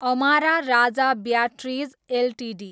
Amara Raja batteries Ltd